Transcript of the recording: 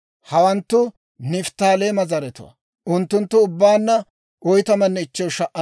Hawanttu Nifttaaleema zaratuwaa; unttunttu ubbaanna 45,400.